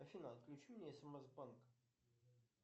афина отключи мне смс банк